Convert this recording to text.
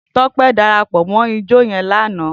Tope dàrápò mò ijò yèn làná